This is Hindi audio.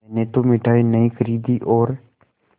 मैंने तो मिठाई नहीं खरीदी और